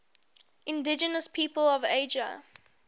indigenous peoples of asia